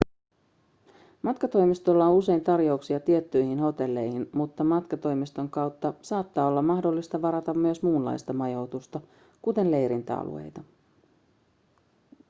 matkatoimistoilla on usein tarjouksia tiettyihin hotelleihin mutta matkatoimiston kautta saattaa olla mahdollista varata myös muunlaista majoitusta kuten leirintäalueita